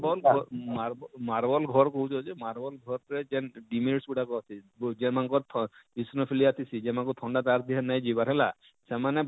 Marble ଘର Marble Marble ଘର କହୁଛ ଯେ Marble ଘର ଯେନ ଗୁଡାକ ଥିସି ଯେନ ମାନକର ଥ ଇସନୁପୁଲିଆ ଥିସି ଯେନ ମାନକୁ ଥଣ୍ଡା ତାର ଦେହେ ନେଇ ଯିବାର ହେଲା ସେମାନେ,